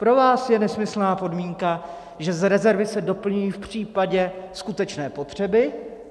Pro vás je nesmyslná podmínka, že z rezervy se doplňují v případě skutečné potřeby.